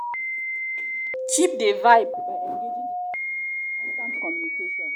the first thing na for you to dey real no dey form wetin you no be